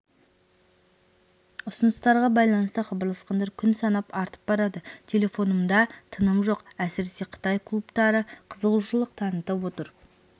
ұсыныстарға байланысты хабарласқандар күн санап артып барады телефонымда тыным жоқ әсіресе қытай клубтары қызығушылық танытып отыр